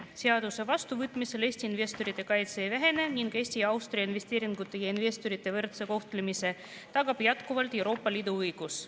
Seaduse vastuvõtmisel Eesti investorite kaitse ei vähene ning Eesti ja Austria investeeringute ja investorite võrdse kohtlemise tagab jätkuvalt Euroopa Liidu õigus.